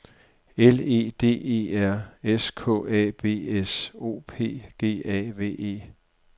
L E D E R S K A B S O P G A V E